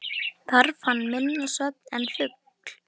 Þarf hann minna svefn en fugl.